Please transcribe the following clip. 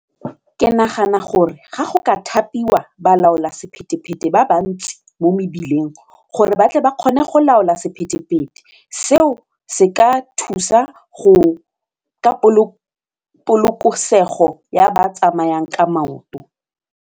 Ke nagana gore ga go ka thapiwa balaolasephetephete ba ba ntsi mo mebileng gore batle ba kgone go laola sephetephete, seo se ka thusa go ka polokesego ya ba tsamayang ka maoto.